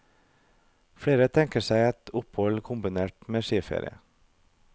Flere tenker seg et opphold kombinert med skiferie.